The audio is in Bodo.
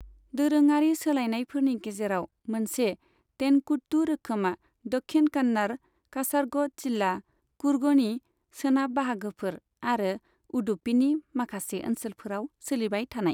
दोरोङारि सोलायनायफोरनि गेजेराव मोनसे, तेनकुट्टू रोखोमा दक्षिण कन्नड़, कासरग'ड जिल्ला, कुर्गनि सोनाब बाहागोफोर, आरो उडुपीनि माखासे ओनसोलफोराव सोलिबाय थानाय।